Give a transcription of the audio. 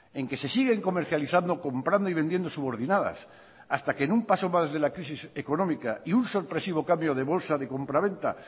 en que se siguen comercializando comprando y vendiendo subordinadas hasta que en un paso más de la crisis económica y un sorpresivo cambio de bolsa de compraventa